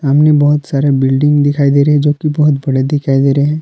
सामने बहुत सारे बिल्डिंग दिखाई दे रही है जो की बहुत बड़े दिखाई दे रहे हैं।